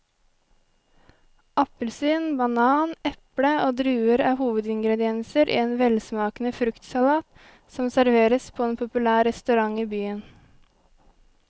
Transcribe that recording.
Appelsin, banan, eple og druer er hovedingredienser i en velsmakende fruktsalat som serveres på en populær restaurant i byen.